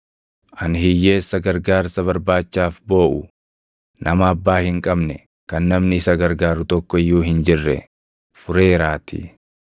ani hiyyeessa gargaarsa barbaachaaf booʼu, nama abbaa hin qabne kan namni isa gargaaru tokko iyyuu hin jirre fureeraatii.